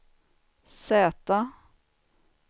Z